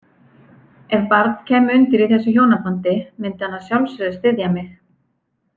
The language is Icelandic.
Ef barn kæmi undir í þessu hjónabandi myndi hann að sjálfsögðu styðja mig.